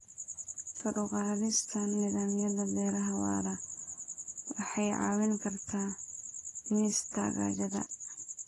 Kor u qaadista nidaamyada beeraha waara waxay caawin kartaa dhimista gaajada.